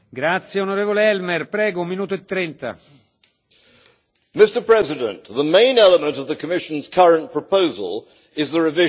Mr President, the main element of the Commission's current proposal is the revision of the ETS system.